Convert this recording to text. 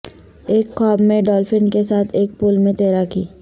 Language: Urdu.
ایک خواب میں ڈالفن کے ساتھ ایک پول میں تیراکی